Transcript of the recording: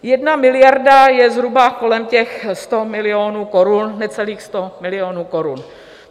1 miliarda je zhruba kolem těch 100 milionů korun, necelých 100 milionů korun.